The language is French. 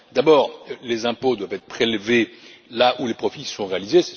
D'abord, les impôts doivent être prélevés là où les profits sont réalisés.